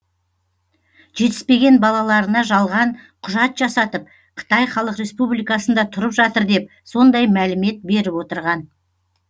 жетіспеген балаларына жалған құжат жасатып қытай халық республикасында тұрып жатыр деп сондай мәлімет беріп отырған